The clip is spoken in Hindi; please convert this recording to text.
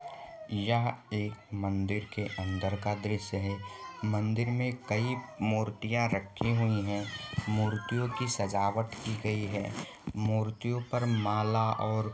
यह एक मंदिर के अंदर का दृश्य है मंदिर में कई मूर्तियां रखी हुई है मूर्तियों की सजावट की गई है मूर्तियों पर माला और--